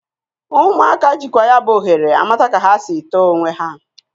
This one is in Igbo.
Ụmụaka jịkwa ya bụ ohere amata ka ha sị tọọ onwe ha.